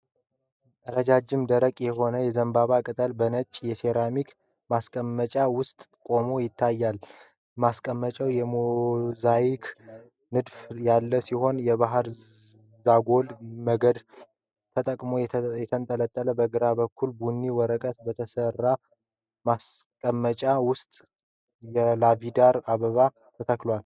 ረጃጅም፣ ደረቅ የሆነ የዘንባባ ቅጠል በነጭ የሴራሚክ ማስቀመጫ ውስጥ ቆሞ ይታያል። ማስቀመጫው የሞዛይክ ንድፍ ያለው ሲሆን፤ የባሕር ዛጎል በገመድ ተጠቅልሎ ተንጠልጥሏል። በግራ በኩል በቡኒ ወረቀት በተሠራ ማስቀመጫ ውስጥ የላቬንደር አበባ ተተክሏል፤